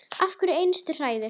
Hverja einustu hræðu!